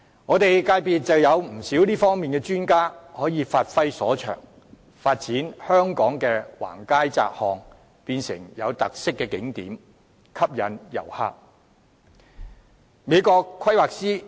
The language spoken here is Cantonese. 我的界別有不少這方面的專家可以發揮所長，發展香港的橫街窄巷，把它們變成有特色的景點，吸引旅客。